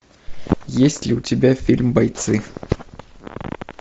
есть ли у тебя фильм бойцы